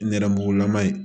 Nɛrɛmugulama ye